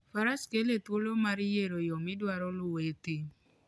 Faras kele thuolo mar yiero yo midwaro luwo e thim.